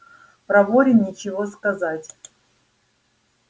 проворен нечего сказать